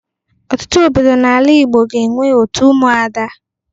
Ọtụtụ obodo n'ala Igbo ga-enwe òtù Ụmụada.